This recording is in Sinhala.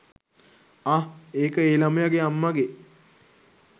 අහ් ඒක ඒ ලමයගේ අම්මගේ